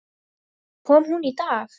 Svo kom hún í dag.